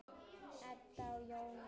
Edda og Jón Ingi.